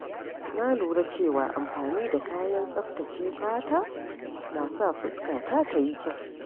Na lura cewa amfani da kayan tsaftace fata na sa fuskata ta yi kyau.